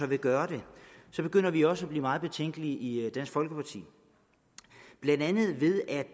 vil gøre det begynder vi også at blive meget betænkelige i dansk folkeparti blandt andet ved at